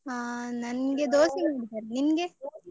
ಹ ನನ್ಗೆ ದೋಸೆ ಮಾಡಿದ್ದಾರೆ, ನಿನ್ಗೆ?